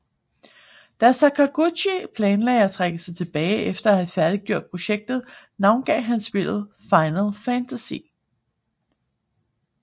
Da Sakaguchi planlagde at trække sig tilbage efter at have færdiggjort projektet navngav han spillet Final Fantasy